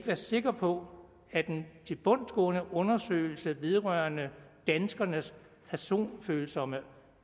være sikre på at en tilbundsgående undersøgelse vedrørende danskernes personfølsomme